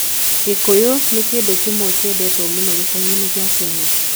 Gĩgĩkũyũ nĩ kĩndũ kĩendetwo mũno gĩcagi-inĩ kĩa Kenya.